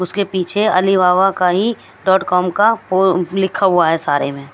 उसके पीछे अलीबाबा का ही डॉट कॉम का पो लिखा हुआ है सारे में।